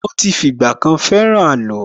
Mo ti fìgbà kan fẹ́ràn àló.